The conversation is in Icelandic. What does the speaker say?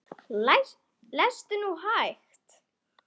Lestu nú hægt!